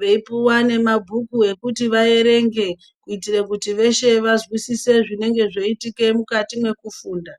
Veipuwa nemabhuku ekuti vaerenge kuitire kuti veshe vazwisise zvinenge zveiitika mukati mwekufunda.